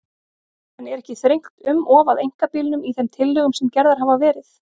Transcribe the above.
En er ekki þrengt um of að einkabílnum í þeim tillögum sem gerðar hafa verið?